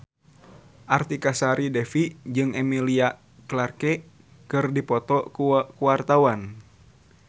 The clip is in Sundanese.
Artika Sari Devi jeung Emilia Clarke keur dipoto ku wartawan